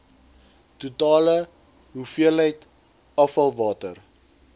totale hoeveelheid afvalwater